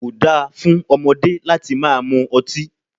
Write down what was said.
Ko dáa fún ọmọdé láti máa mú ọtí.